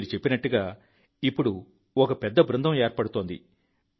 మీరు చెప్పినట్లుగా ఇప్పుడు ఒక పెద్ద బృందం ఏర్పడుతోంది